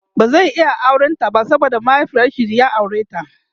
ba zai iya auran ta ba saboda mahiaifinshi ya aureta da